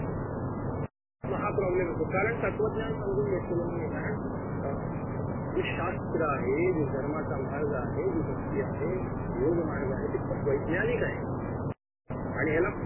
महा problem येतो कारण तत्वज्ञान समजून घेतलेलं नाहीये अं जे शास्त्र आहे जे धर्माचा मार्ग आहे जी भक्ती आहे योग मार्ग आहे ती खूप वैज्ञानिक आहे आणि ह्याला